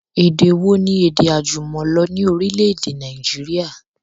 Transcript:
Èdè wo ni èdè àjùmọ̀lò ni orílẹ̀èdè Nàìjíríà?